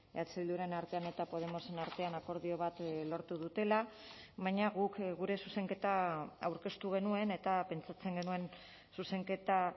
eh bilduren artean eta podemosen artean akordio bat lortu dutela baina guk gure zuzenketa aurkeztu genuen eta pentsatzen genuen zuzenketa